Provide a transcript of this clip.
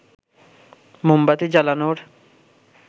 মোমবাতি জ্বালানোর